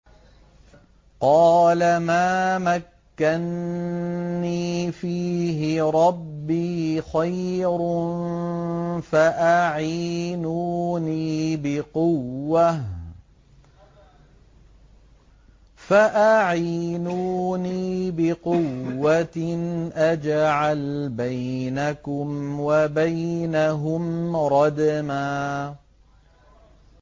قَالَ مَا مَكَّنِّي فِيهِ رَبِّي خَيْرٌ فَأَعِينُونِي بِقُوَّةٍ أَجْعَلْ بَيْنَكُمْ وَبَيْنَهُمْ رَدْمًا